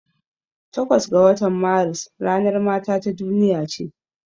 Takwas ga watan Maris ranar mata ta duniya ce.